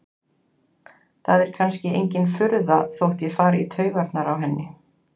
Það er kannski engin furða þótt ég fari í taugarnar á henni.